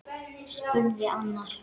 spurði annar.